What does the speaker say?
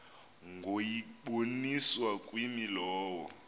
ngokuyiboniswa kwimi lowo